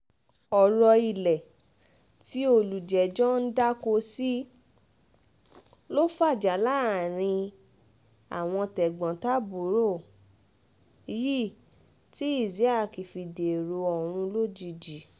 ọ̀rọ̀ ilé tí olùjẹ́jọ́ ń dáko sí ló fàjà láàrin àwọn tẹ̀gbọ́n-tàbúrò yìí tí isiaq fi dèrò ọ̀run lójijì